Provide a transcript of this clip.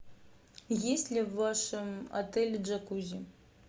есть ли в вашем отеле джакузи